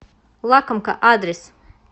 лакомка адрес